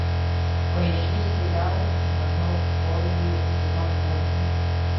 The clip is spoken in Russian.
поищи сериал на зов скорби сезон восемь